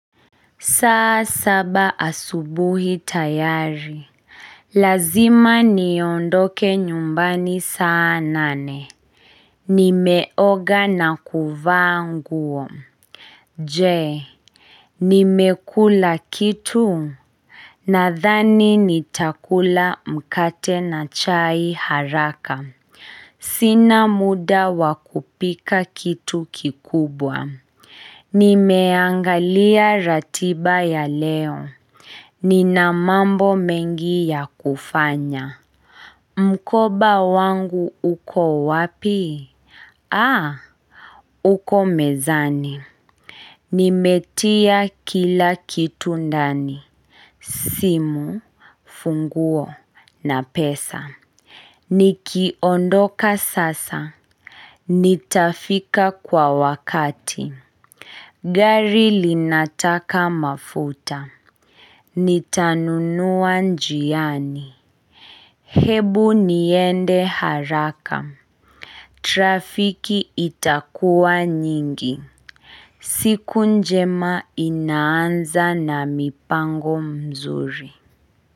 Saa saba asubuhi tayari. Lazima niondoke nyumbani saa nane. Nimeoga na kuvaa nguo. Jee, nimekula kitu? Nadhani nitakula mkate na chai haraka. Sina muda wakupika kitu kikubwa. Nimeangalia ratiba ya leo. Nina mambo mengi ya kufanya. Mkoba wangu uko wapi? Aa, uko mezani. Nimetia kila kitu ndani. Simu, funguo, na pesa. Nikiondoka sasa. Nitafika kwa wakati. Gari linataka mafuta Nitanunua njiani Hebu niende haraka Trafiki itakuwa nyingi siku njema inaanza na mipango mzuri.